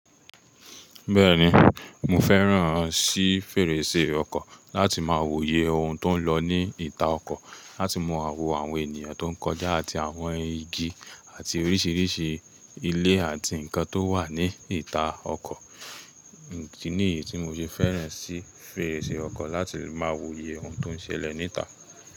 Bẹ́ẹ̀ni, mo fẹ́ràn sí fèrèsé ọkọ̀ láti máa wòye ohun tó ń lọ ní ìta ọkọ̀, láti mọ àwò àwọn ènìyàn tó ń kọjá àti àwọn igi àti oríṣiríṣi ilé àti nǹkan tó wà ní ìta ọkọ̀. Nìyí tí mo ṣe fẹ́ràn sí fèrèsé ọkọ̀ láti máa wòye ohun tó ń ṣẹlẹ̀ ní ìta.